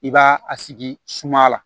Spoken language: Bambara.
I b'a a sigi suma la